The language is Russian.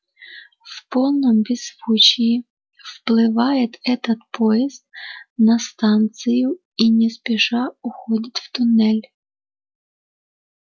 в полном беззвучии вплывает этот поезд на станцию и не спеша уходит в туннель